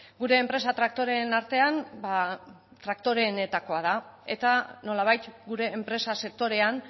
gure enpresa traktoreen artean traktoreenetako da eta nolabait gure enpresa sektorean